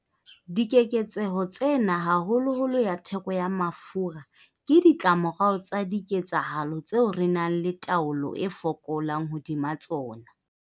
Dikeketseho tsena, haholoholo ya theko ya mafura, ke ditlamorao tsa diketsahalo tseo re nang le taolo e fokolang hodima tsona.